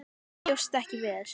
Ég bjóst ekki við þessu.